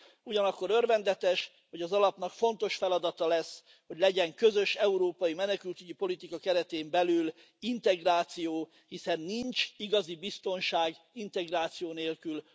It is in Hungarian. Ugyanakkor örvendetes, hogy az alapnak fontos feladata lesz, hogy legyen a közös európai menekültügyi politika keretén belül integráció, hiszen nincs igazi biztonság integráció nélkül.